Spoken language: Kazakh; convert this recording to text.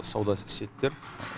сауда сетьтер